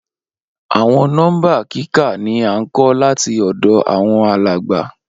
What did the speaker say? Awọn nọmba kika ni a nkọ lati ọdọ awọn alagba.